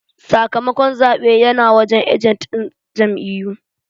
Sakamakon zaben yana wajen ajent din jam'iyyu.